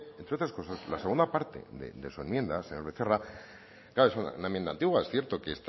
entre otras cosas la segunda parte de su enmienda señor becerra claro es una enmienda antigua es cierto que